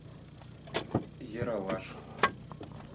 ералаш